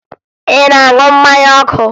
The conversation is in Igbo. Ị na-aṅụ mmanya ọkụ?